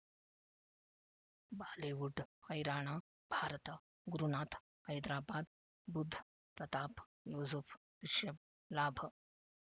Bollywood ಹೈರಾಣ ಭಾರತ ಗುರುನಾಥ ಹೈದರಾಬಾದ್ ಬುಧ್ ಪ್ರತಾಪ್ ಯೂಸುಫ್ ರಿಷಬ್ ಲಾಭ